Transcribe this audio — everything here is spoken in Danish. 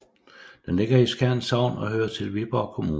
Den ligger i Skjern Sogn og hører til Viborg Kommune